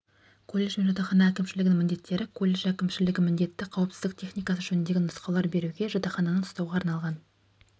колледж бен жатақхана әкімшілігінің міндеттері колледж әкімшілігі міндетті қауіпсіздік техникасы жөнінде нұсқаулар беруге жатақхананы ұстауға арналған